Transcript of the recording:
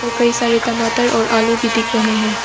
कई सारे टमाटर और आलू भी दिख रहे हैं।